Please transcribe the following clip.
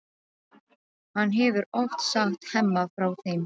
Hann hefur oft sagt Hemma frá þeim.